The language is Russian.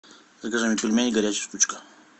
закажи мне пельмени горячая штучка